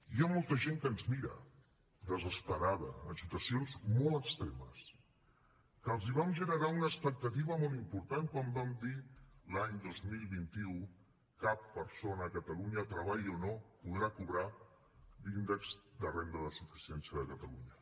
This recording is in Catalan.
hi ha molta gent que ens mira desesperada en situacions molt extremes que els vam generar una expectativa molt important quan vam dir l’any dos mil vint u cap persona a catalunya treballi o no podrà cobrar l’índex de renda de suficiència de catalunya